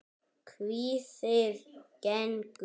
Kvíðið engu!